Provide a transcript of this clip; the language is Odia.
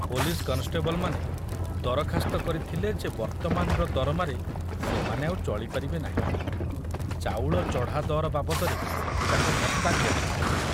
ପୋଲିସ କନଷ୍ଟେବଲମାନେ ଦରଖାସ୍ତ କରିଥିଲେ ଯେ ବର୍ତ୍ତମାନର ଦରମାରେ ସେମାନେ ଆଉ ଚଳି ପାରିବେ ନାହିଁ, ଚାଉଳ ଚଢ଼ା ଦର ବାବଦରେ ତାଙ୍କୁ ଭତ୍ତା ଦିଆଯାଉ।